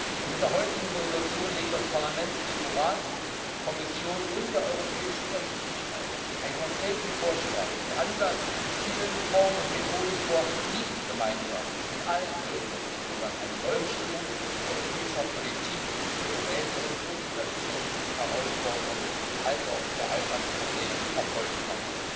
Und mit der heutigen Entschließung legt das Parlament dem EU Rat, der Kommission und der europäischen Öffentlichkeit einen konkreten Vorschlag zu Ansatz, Zielen, Formen und Methoden vor, wie gemeinsam mit allen Bürgerinnen und Bürgern eine Neubestimmung europäischer Politik zur Bewältigung so vieler Zukunftsherausforderungen als auch der Alltagsprobleme erfolgen kann.